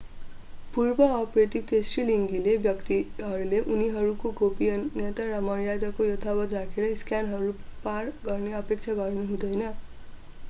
पूर्व-अपरेटिभ तेस्रोलिङ्गी व्यक्तिले उनीहरूको गोपनीयता र मर्यादा यथावत राखेर स्क्यानरहरू पार गर्ने अपेक्षा गर्नु हुँदैन